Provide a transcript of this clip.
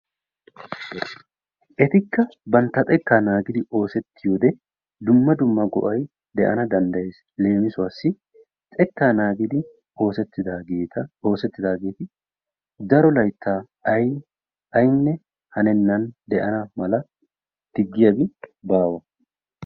etikka bantta xeka naagidi oosetiyode dumma dumma go'ay de'ana dandayees, leemissuwassi xekkaa naagidi oosetidaageta daro laytaa daana mala aynne diggiyabi baawa.